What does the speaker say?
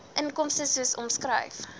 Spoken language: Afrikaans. inkomste soos omskryf